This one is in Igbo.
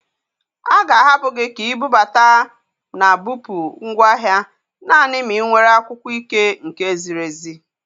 A ga-ahapụ gị ka ibubata na bupụ ngwaahịa nanị ma ị nwere akwụkwọ ike nke ziri ezi.